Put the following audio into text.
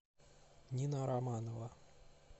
нина романова